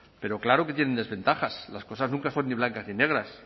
pero claro que tienen desventajas las cosas nunca son ni blancas ni negras